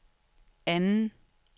anden